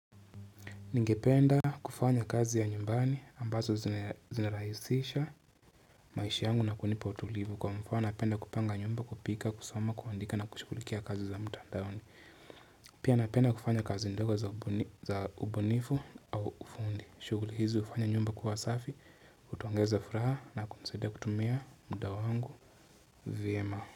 Ningependa kufanya kazi ya nyumbani ambazo zinaraisisha maisha yangu na kunipa utulivu kwa mfano napenda kupanga nyumba kupika, kusoma, kuandika na kushugulikia kazi za mtandaoni. Pia napenda kufanya kazi ndogo za ubunifu au ufundi. Shuguli hizi hufanya nyumba kuwa safi, hutuongeza furaha na kunisaidia kutumia muda wangu vyema.